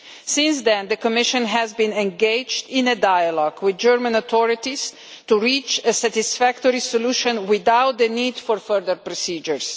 Since then, the Commission has been engaged in a dialogue with the German authorities to reach a satisfactory solution without the need for further procedures.